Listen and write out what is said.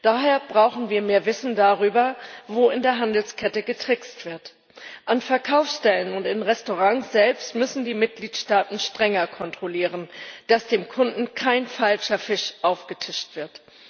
Daher brauchen wir mehr Wissen darüber, wo in der Handelskette getrickst wird. An Verkaufsstellen und in Restaurants selbst müssen die Mitgliedstaaten strenger kontrollieren, dass dem Kunden kein falscher Fisch aufgetischt wird.